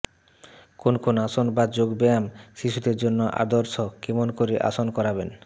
কোন কোন আসন বা যোগ ব্যায়াম শিশুদের জন্য আদর্শ কেমন করে আসন করাবেন